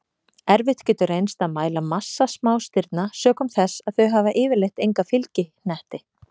Erfitt getur reynst að mæla massa smástirna sökum þess að þau hafa yfirleitt enga fylgihnetti.